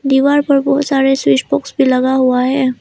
दीवार पर बहुत सारे स्विच बॉक्स भी लगा हुआ है।